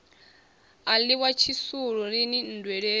a ḽiwa tshisulu lini nndweleni